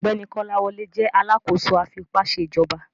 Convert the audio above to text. Ọgbẹni Kolawole jẹ alakoso afipaṣejọba